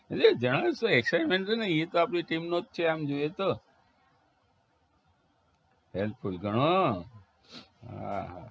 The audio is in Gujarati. એટલે જણાવીશ તો excitement રે ને ઈ તો આપની team નો જ છે આમ જોઈએ તો એમ તો ઈ હ હા